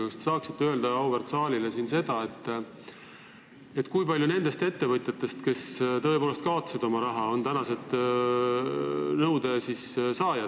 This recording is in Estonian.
Kas te saaksite öelda auväärt saalile, kui paljud nendest ettevõtjatest, kes tõepoolest kaotasid oma raha, on tänased nõudjad?